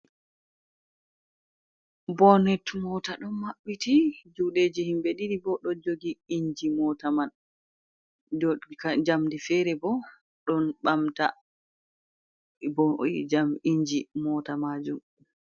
Bonet mota ɗon maɓɓiti juɗeji himɓe ɗiɗi bo ɗo jogi inji mota man, do njamdi fere bo ɗon ɓamta bo oyi jam inji mota majum.